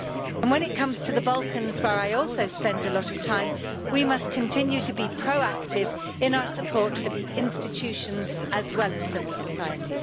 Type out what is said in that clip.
And when it comes to the Balkans, where I also spend a lot of time, we must continue to be proactive in our support for the institutions, as well as civil society.